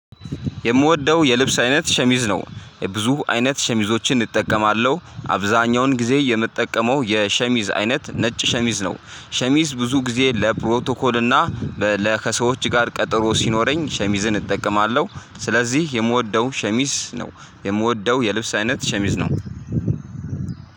የምወደው የልብስ አይነት ሸሚዝ ነው። ብዙ አይነት ሸሚዞችን እጠቀማለሁ አብዛኛውን ጊዜ የምጠቀመው የሸሚዝ አይነት ነጭ ሸሚዝ ነው። ሸሚዝ ብዙ ጊዜ ለፕሮቶኮል እና ለከሰዎች ጋር ቀጠሮ ሲኖረኝ ሸሚዝን እጠቀማለሁ። ስለዚህ የምወደው ሸሚዝ ነው። የምወደው የልብስ አይነት ሸሚዝ ነው።